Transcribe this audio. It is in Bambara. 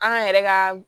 An yɛrɛ ka